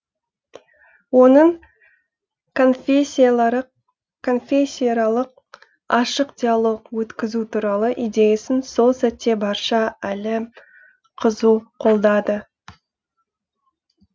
оның конфессияаралық ашық диалог өткізу туралы идеясын сол сәтте барша әлем қызу қолдады